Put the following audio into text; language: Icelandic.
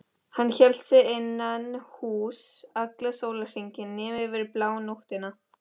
Hann hélt sig innan húss allan sólarhringinn nema yfir blánóttina.